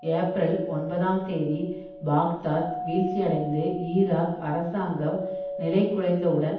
April ஒன்பதாம் தேதி Baghdad வீழ்ச்சியடைந்து ஈராக் அரசாங்கம் நிலைகுலைந்தவுடன்